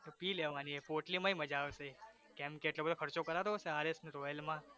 પી લેવાની એમ પોટલીમાંય મજા આવે કેમકે એટલો બધો ખર્ચો કરાતો હશે RS ને royal માં